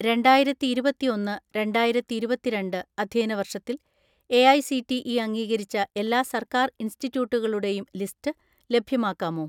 "രണ്ടായിരത്തിഇരുപത്തിഒന്ന് രണ്ടായിരത്തിഇരുപത്തിരണ്ട്‍ അധ്യയന വർഷത്തിൽ എഐസിടിഇ അംഗീകരിച്ച എല്ലാ സർക്കാർ ഇൻസ്റ്റിറ്റ്യൂട്ടുകളുടെയും ലിസ്റ്റ് ലഭ്യമാക്കാമോ?"